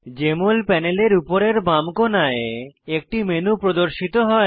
JML প্যানেলের উপরের বাম কোণায় একটি মেনু প্রদর্শিত হয়